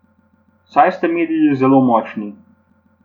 Saj ste mediji zelo močni.